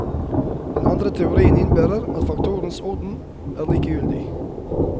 Den andre teorien innebærer at faktorenes orden er likegyldig.